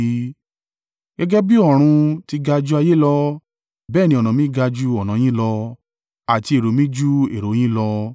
“Gẹ́gẹ́ bí ọ̀run ti ga ju ayé lọ, bẹ́ẹ̀ ni ọ̀nà mi ga ju ọ̀nà yín lọ àti èrò mi ju èrò yín lọ.